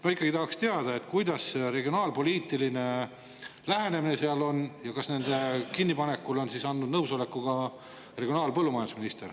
Ma ikkagi tahaksin teada, milline see regionaalpoliitiline lähenemine seal on ja kas kinnipanekule on andnud nõusoleku ka regionaal- ja põllumajandusminister.